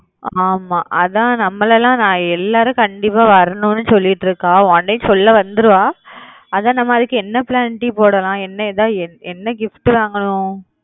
ஆமா அதான் நம்பலலாம் நான் எல்லாரும் கண்டிப்பா வரணும்ன்னு சொல்லிட்டு இருக்கா